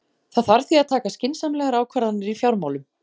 Það þarf því að taka skynsamlegar ákvarðanir í fjármálum.